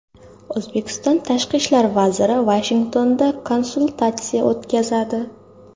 O‘zbekiston tashqi ishlar vaziri Vashingtonda konsultatsiya o‘tkazadi.